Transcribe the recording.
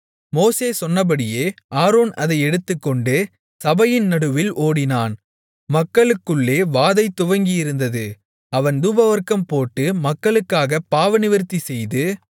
மோசே சொன்னபடி ஆரோன் அதை எடுத்துக்கொண்டு சபையின் நடுவில் ஓடினான் மக்களுக்குள்ளே வாதை துவங்கியிருந்தது அவன் தூபவர்க்கம் போட்டு மக்களுக்காகப் பாவநிவிர்த்தி செய்து